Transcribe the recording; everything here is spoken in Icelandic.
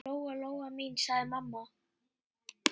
Lóa-Lóa mín, sagði mamma.